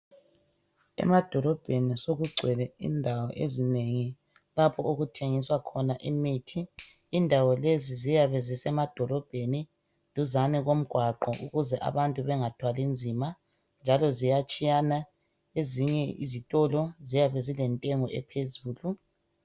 Emadorobheni sokugcwele indawo ezinengi. Lapho okuthengiswa khona imithi. Indawo lezi ziyabe zisemadorobheni, duzane komgwaqo. Ukuze abantu bangathwali nzima., njalo ziyatshiyana. Ezinye ziyabe zilentengo ephezulu.